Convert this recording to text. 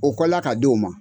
O kɔla ka di o ma